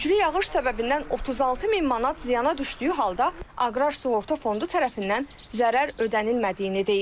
Güclü yağış səbəbindən 36 min manat ziyana düşdüyü halda aqrar sığorta fondu tərəfindən zərər ödənilmədiyini deyir.